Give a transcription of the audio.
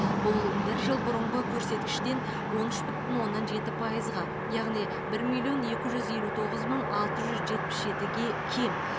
бұл бір жыл бұрынғы көрсеткіштен он үш бүтін оннан жеті пайызға яғни бір миллион екі жүз елу тоғыз мың алты жүз жетпіс жетіге кем